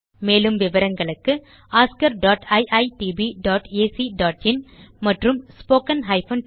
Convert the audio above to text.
மேலும் விவரங்களுக்கு oscariitbacஇன் மற்றும் spoken tutorialorgnmeict இன்ட்ரோ